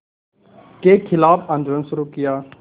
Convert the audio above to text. के ख़िलाफ़ आंदोलन शुरू किया